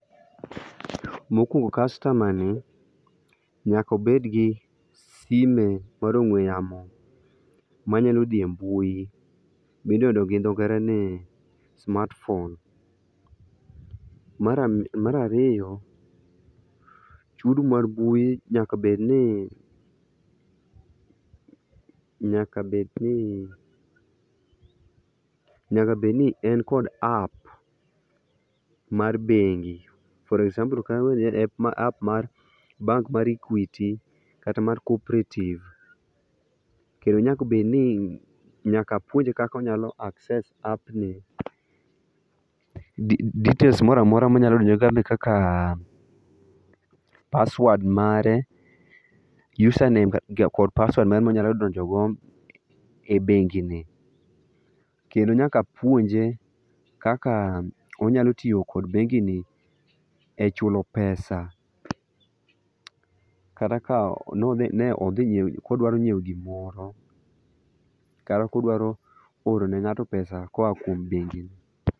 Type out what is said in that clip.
Mokuongo kastama ni nyako obed gi sime mar ongwe yamo manyalo dhi e mbui midendo gi dho ngere ni smartphone. Mar ariyo, chudo mar mbui nyaka bed ni ,nyaka bed ni ,nyaka bed ni en kod app mar bengi, for example ka en app mar bank mae Equity kata mar Cooperative, kendo nyaka bedni ,nyaka apuonje kaka onyalo accept app ni. Details moro amora manya dwarore kaka password mare, username kod password mare monyalo donjo go e bengi ni. Kendo nyaka apuonje kaka onyalo tiyo kod bengini e chulo pesa. Kata ka ne odhi nyiew, kodwaro nyiew gimoro kata kodwaro oro ne ngato pesa koa kuom bengini.